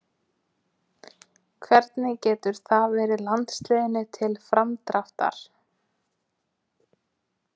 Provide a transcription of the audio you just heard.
Hvernig getur það verið landsliðinu til framdráttar?